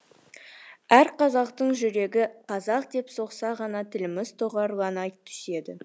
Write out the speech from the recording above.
әр қазақтың жүрегі қазақ деп соқса ғана тіліміз тұғырлана түседі